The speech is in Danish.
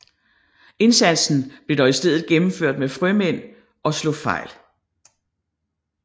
Indsatsen blev dog i stedet gennemført med frømænd og slog fejl